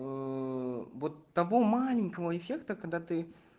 ээ вот того маленького эффекта когда ты